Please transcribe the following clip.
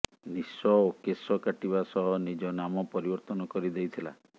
ନିଶ ଓ କେଶ କାଟିବା ସହ ନିଜ ନାମ ପରିବର୍ତନ କରି ଦେଇଥିଲା